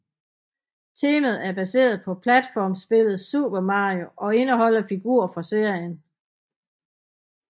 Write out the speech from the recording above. Temaet er baseret på platformspillet Super Mario og indeholder figurer fra serien